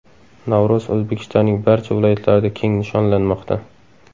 Navro‘z O‘zbekistonning barcha viloyatlarida keng nishonlanmoqda .